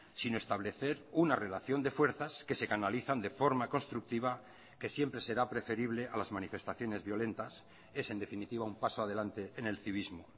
sino establecer una relación de fuerzas que se canalizan de forma constructiva que siempre será preferible a las manifestaciones violentas es en definitiva un paso adelante en el civismo